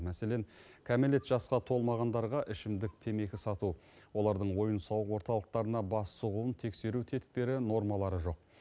мәселен кәмелет жасқа толмағандарға ішімдік темекі сату олардың ойын сауық орталықтарына бас сұғуын тексеру тетіктері нормалары жоқ